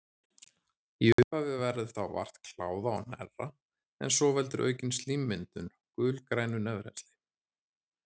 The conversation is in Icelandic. Í upphafi verður þá vart kláða og hnerra en svo veldur aukin slímmyndun gulgrænu nefrennsli.